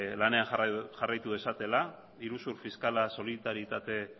lanean jarraitu dezatela iruzur fiskala solitaritate